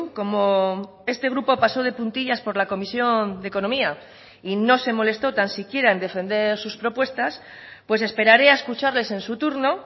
como este grupo pasó de puntillas por la comisión de economía y no se molestó tan siquiera en defender sus propuestas pues esperaré a escucharles en su turno